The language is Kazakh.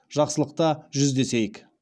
жақсылықта жүздесейік